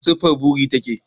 Ya siffar buri take?